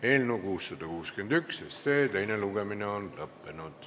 Eelnõu 661 teine lugemine on lõppenud.